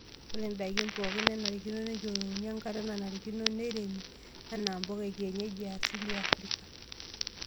Ore ndaikin pookin nenarikino neyiolouni enkata nanarikino neiremi enaa mpuka ekienyeji easili e Afrika.